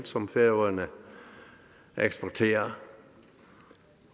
som færøerne eksporterer